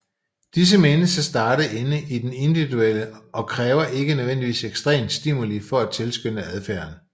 Disse menes at starte inden i den individuelle og kræver ikke nødvendigvis ekstern stimuli for at tilskynde adfærden